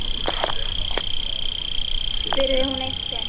spurði hún eitt sinn.